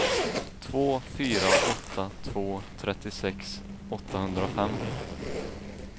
två fyra åtta två trettiosex åttahundrafem